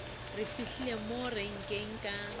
re fihlile mo renkeng ka